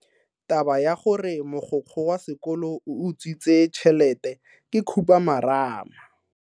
Taba ya gore mogokgo wa sekolo o utswitse tšhelete ke khupamarama.